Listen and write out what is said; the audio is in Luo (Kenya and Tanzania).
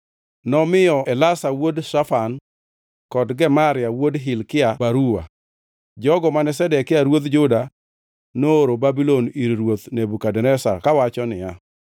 Nomiyo Elasa wuod Shafan kod Gemaria wuod Hilkia baruwa, jogo mane Zedekia ruodh Juda nooro Babulon ir Ruoth Nebukadneza. Kawacho niya: